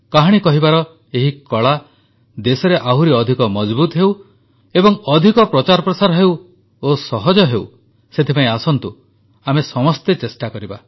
କାହାଣୀ କହିବାର ଏହି କଳା ଦେଶରେ ଆହୁରି ଅଧିକ ମଜଭୁତ ହେଉ ଓ ଅଧିକ ପ୍ରଚାରପ୍ରସାର ହେଉ ଏବଂ ସହଜ ହେଉ ସେଥିପାଇଁ ଆସନ୍ତୁ ଆମେ ସମସ୍ତେ ଚେଷ୍ଟା କରିବା